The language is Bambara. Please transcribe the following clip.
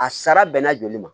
A sara bɛnna joli ma